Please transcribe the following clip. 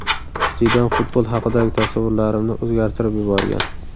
Zidan futbol haqidagi tasavvurlarimni o‘zgartirib yuborgan.